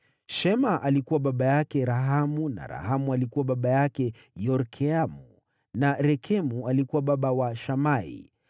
Shema alikuwa baba yake Rahamu na Rahamu alikuwa baba wa Yorkeamu na Rekemu alikuwa baba wa Shamai.